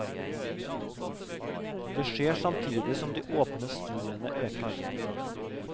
Det skjer samtidig som de åpne studiene øker.